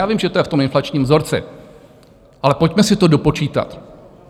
Já vím, že to je v tom inflačním vzorci, ale pojďme si to dopočítat.